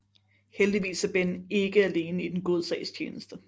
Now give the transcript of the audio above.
Heldigvis er Ben ikke alene i den gode sags tjeneste